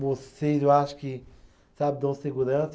Vocês, eu acho que, sabe, dão segurança.